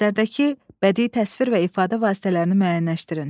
Əsərdəki bədii təsvir və ifadə vasitələrini müəyyənləşdirin.